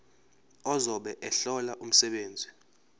ozobe ehlola umsebenzi